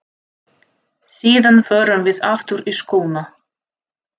Síðan förum við aftur í skóna.